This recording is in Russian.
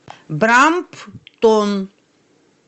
брамптон